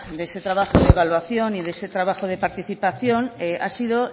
de ese trabajo de evaluación y de ese trabajo de participación ha sido